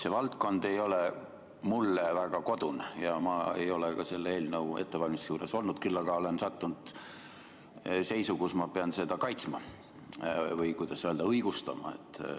See valdkond ei ole mulle väga kodune ja ma ei ole ka selle eelnõu ettevalmistuse juures olnud, küll aga olen sattunud seisu, kus ma pean seda kaitsma või, kuidas öelda, õigustama.